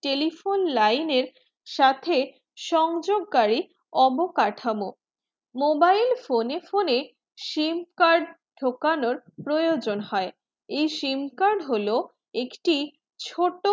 telephone line এর সাথে সংযোকারি অবকাঠামো mobile phone এ phone এ sim card ঢোকানোর প্রজন হয়ে এই sim card হলো একটি ছোট